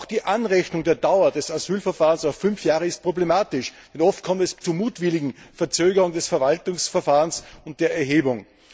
Auch die Anrechnung der Dauer des Asylverfahrens auf die fünf Jahre ist problematisch, denn oft kommt es zu mutwilligen Verzögerungen des Verwaltungsverfahrens und der Erhebung.